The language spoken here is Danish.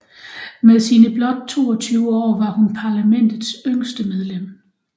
Med sine blot 22 år var hun parlamentets yngste medlem